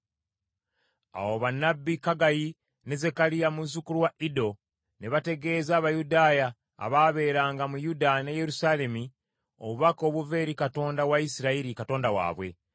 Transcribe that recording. Awo bannabbi Kaggayi ne Zekkaliya muzzukulu wa Iddo ne bategeeza Abayudaaya abaabeeranga mu Yuda ne Yerusaalemi obubaka obuva eri Katonda wa Isirayiri, Katonda waabwe.